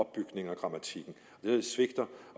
det svigter